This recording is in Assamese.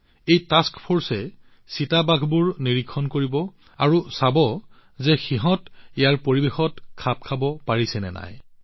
এই টাস্ক ফৰ্চে চিতাবোৰ নিৰীক্ষণ কৰিব আৰু চাব যে চিতাবোৰ ইয়াৰ পৰিৱেশত খাপ খাবলৈ সক্ষম হৈছে নে নাই